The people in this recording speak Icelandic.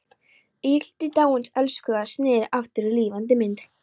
Ígildi dáins elskhuga sneri aftur í lifandi mynd.